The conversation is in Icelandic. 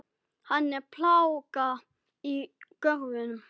Hann er plága í görðum.